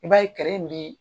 I b'a ye kɛrɛ in bi